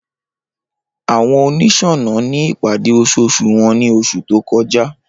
Awọn oniṣọnà ni ipade oṣooṣu wọn ni oṣu to kọja.